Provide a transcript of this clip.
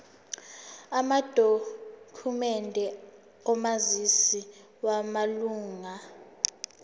amadokhumende omazisi wamalunga